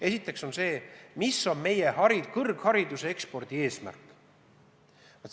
Esiteks, mis on meie kõrghariduse ekspordi eesmärk?